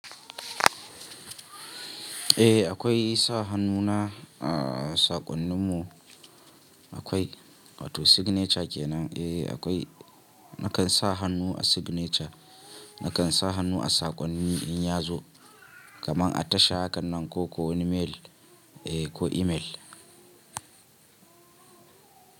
Eh akwai sa hannu na a saƙon ni mu akwai wato signature kenan. Eh akwai nakan sa hannu a signature, nakan sa hannu a saƙonni in ya zo kaman a tasha hakan nan ko ko email. Eh ko email.